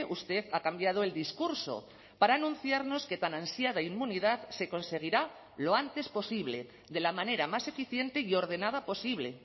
usted ha cambiado el discurso para anunciarnos que tan ansiada inmunidad se conseguirá lo antes posible de la manera más eficiente y ordenada posible